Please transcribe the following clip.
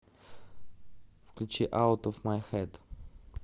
включи аут оф май хэд